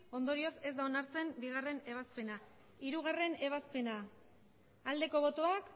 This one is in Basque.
ondorioz ez da onartzen bigarrena ebazpena hirugarrena ebazpena aldeko botoak